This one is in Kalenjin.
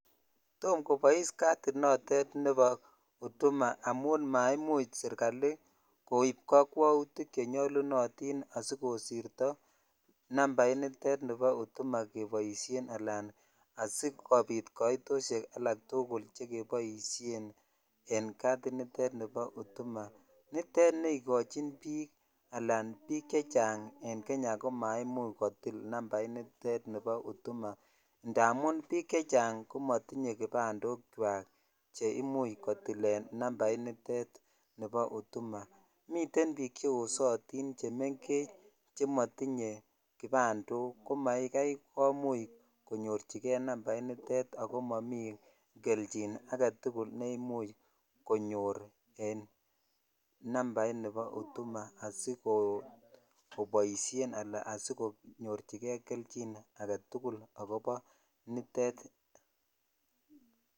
Topkobois katit notet nebo huduma amun maimuch sirkali koib kakwautik chenyolunotin asikosirto nambat ab huduma keboisien alan sikobit kaitoshek tugul chekeboshenen katinitet ni bo huduma nitet ne ikochin bik alan bik chechang en Kenya ko maimuch kotil nambait nitet bo huduma amun bik chechang komotinye kipabmndi che imuch kotilen nambainiten bo huduma miten bik cheosotin chemenfech chemotinye kioandok ko makai komuch konyorchikei nambainitet ako momi jelchin agetul ne imuch konyor en nambaini bo huduma asikoboishen ala sikonyochikei aketul ne bo nitet.